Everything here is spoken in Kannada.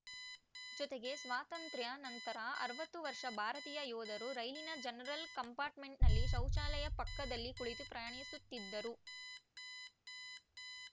ಜೊತೆಗೆ ಸ್ವಾತಂತ್ರ್ಯಾ ನಂತರ ಅರವತ್ತು ವರ್ಷ ಭಾರತೀಯ ಯೋಧರು ರೈಲಿನ ಜನರಲ್‌ ಕಂಪಾರ್ಟ್‌ಮೆಂಟ್‌ನಲ್ಲಿ ಶೌಚಾಲಯ ಪಕ್ಕದಲ್ಲಿ ಕುಳಿತು ಪ್ರಯಾಣಿಸುತ್ತಿದ್ದರು